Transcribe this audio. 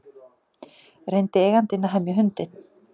Reyndi eigandinn að hemja hundinn